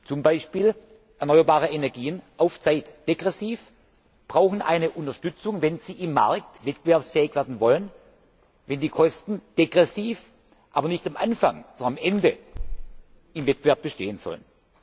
Zum Beispiel erneuerbare Energien auf Zeit, degressiv brauchen eine Unterstützung, wenn sie im Markt wettbewerbsfähig werden wollen, wenn die Kosten degressiv, aber nicht am Anfang, sondern am Ende im Wettbewerb bestehen sollen.